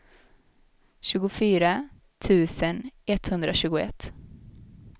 tjugofyra tusen etthundratjugoett